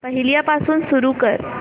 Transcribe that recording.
पहिल्यापासून सुरू कर